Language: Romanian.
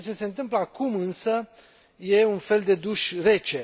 Ceea ce se întâmplă acum, însă, e un fel de duș rece.